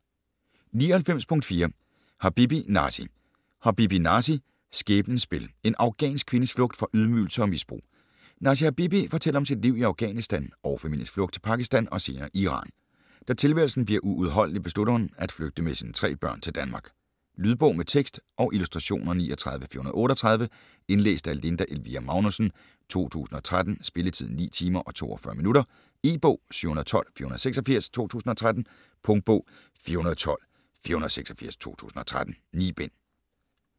99.4 Habibi, Nasi Habibi, Nasi: Skæbnens spil: En afghansk kvindes flugt fra ydmygelser og misbrug Nasi Habibi fortæller om sit liv i Afghanistan og familiens flugt til Pakistan og senere Iran. Da tilværelsen bliver uudholdelig beslutter hun at flygte med sine tre børn til Danmark. Lydbog med tekst og illustrationer 39438 Indlæst af Linda Elvira Magnussen, 2013. Spilletid: 9 timer, 42 minutter. E-bog 712486 2013. Punktbog 412486 2013. 9 bind.